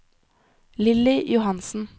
Lilly Johansen